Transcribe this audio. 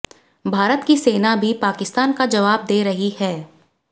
भारत की सेना भी पाकिस्तान का जवाब दे रही है